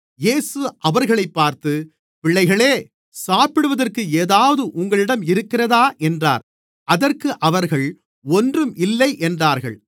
இயேசு அவர்களைப் பார்த்து பிள்ளைகளே சாப்பிடுவதற்கு ஏதாவது உங்களிடம் இருக்கிறதா என்றார் அதற்கு அவர்கள் ஒன்றும் இல்லை என்றார்கள்